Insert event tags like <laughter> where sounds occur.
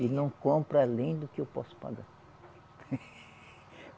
E não compro além do que eu posso pagar. <laughs>